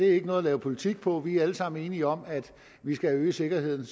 er noget at lave politik på vi er alle sammen enige om at vi skal have øget sikkerheden